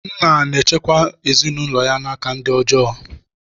Nna na-echekwa ezinaụlọ n'aka ndị ọjọọ.